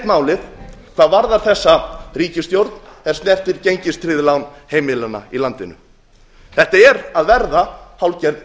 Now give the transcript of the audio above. málið hvað varðar þessa ríkisstjórn er snertir gengistryggð lán heimilanna í landinu þetta er að verða hálfgerð